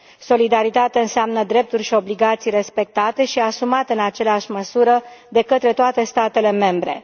Solidaritate înseamnă drepturi și obligații respectate și asumate în aceeași măsură de către toate statele membre.